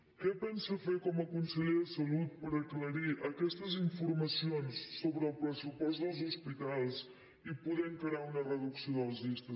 què pensa fer com a conseller de salut per aclarir aquestes informacions sobre el pressupost dels hospitals i poder encarar una reducció de les llistes d’espera